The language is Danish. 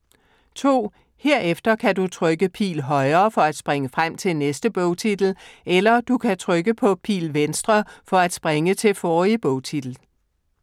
2. Herefter kan du trykke Pil Højre for at springe frem til næste bogtitel, eller du kan trykke på Pil Venstre for at springe til forrige bogtitel.